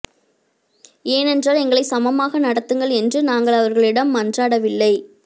ஏனென்றால் எங்களை சமமாக நடத்துங்கள் என்று நாங்கள் அவர்களிடம் மன்றாடவில்லை